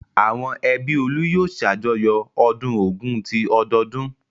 Àwọn ẹbí Olú yóò ṣàjọyọ̀ ọdún Ògún ti ọdọọdún.